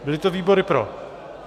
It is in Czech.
Byly to výbory pro...